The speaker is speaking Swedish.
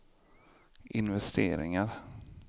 investeringar